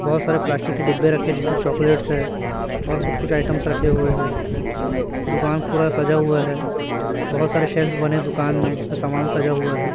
बहोत सारे प्लास्टिक के डिब्बे रखे है जिसमें चॉकलेटस है और कुछ कुछ आइटमस रखे हुए है दुकान पूरा सजा हुआ है बहोत सारे शेल्फ बने है दुकान में जिसपे समान सजा हुआ है।